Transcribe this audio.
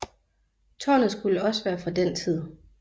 Tårnet skulle også være fra den tid